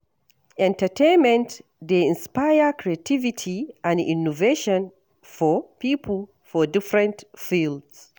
Entertainment dey inspire creativity and innovation for pipo for different fields.